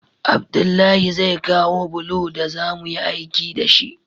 Abdullahi zai kawo bulo daza muyi aiki dashi